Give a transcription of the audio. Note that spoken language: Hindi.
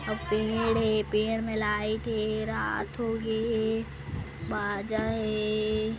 अउ पेड़ हे पेड़ में लाइट हे रात हो गे हे बजा हे।